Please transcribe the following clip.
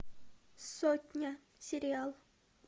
сотня сериал